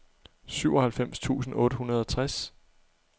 syvoghalvfems tusind otte hundrede og tres